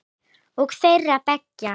Og þeirra beggja.